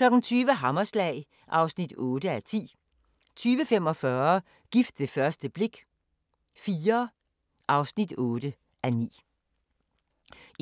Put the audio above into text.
20:00: Hammerslag (8:10) 20:45: Gift ved første blik – IV (8:9)